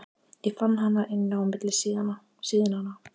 Ég fann hana inni á milli síðnanna.